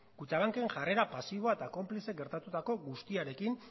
kutxabanken jarrera pasiboa eta konplize gertatutako guztiarekin